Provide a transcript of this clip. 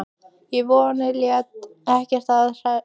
En vonin lét ekki að sér hæða.